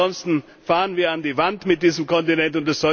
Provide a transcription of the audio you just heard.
Ansonsten fahren wir an die Wand mit diesem Kontinent.